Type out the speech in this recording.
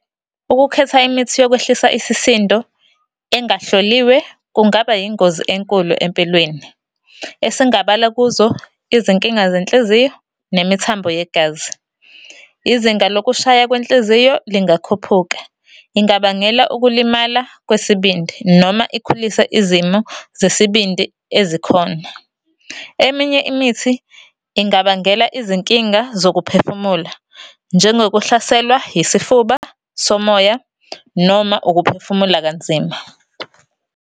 Ukukhetha imithi yokwehlisa isisindo engahloliwe kungaba yingozi enkulu empilweni. Esingabala kuzo, izinkinga zenhliziyo, nemithambo yegazi. Izinga lokushaya kwenhliziyo lingakhuphuka. Ingabangela ukulimala kwesibindi, noma ikhulise izimo zesibindi ezikhona. Eminye imithi, ingabangela izinkinga zokuphefumula, njengokuhlaselwa yisifuba somoya, noma ukuphefumula kanzima.